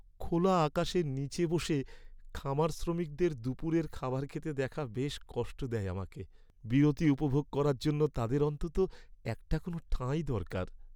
খোলা আকাশের নীচে বসে খামার শ্রমিকদের দুপুরের খাবার খেতে দেখা বেশ কষ্ট দেয় আমাকে। বিরতি উপভোগ করার জন্য তাদের অন্তত একটা কোনও ঠাঁই দরকার।